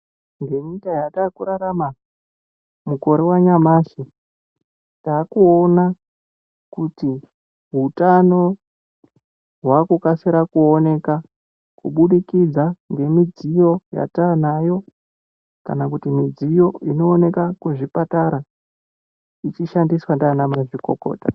Ngenyika yatakurarama mukore wanyamashi, taakuona kuti hutano hwakukasira kuoneka kubudikidza ngemidziyo yataanayo, kana kuti midziyo inooneke kuzvipatara, ichishandiswa ndiana mazvikokota.